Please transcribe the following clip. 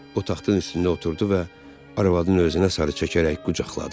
O taxtın üstündə oturdu və arvadını özünə sarı çəkərək qucaqladı.